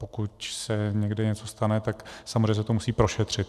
Pokud se někde něco stane, tak samozřejmě se to musí prošetřit.